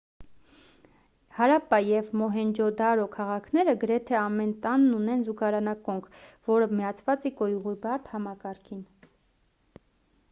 հարապպա և մոհենջո-դարո քաղաքները գրեթե ամեն տանն ունեն զուգարանակոնք որը միացված է կոյուղու բարդ համակարգին